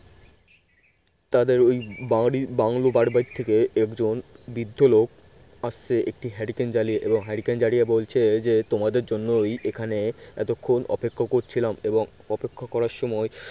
তাদের ওই বাড়ি বাংলো বাড়িটা থেকে একজন বৃদ্ধ লোক আসছে। একটি hurricane জ্বালিয়ে এবং hurricane জ্বালিয়ে বলছে যে তোমাদের জন্যই এখানে এতক্ষন অপেক্ষা করছিলাম এবং অপেক্ষা করার সময়